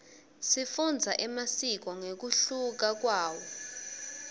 sifundza emasiko ngekunluka kwawo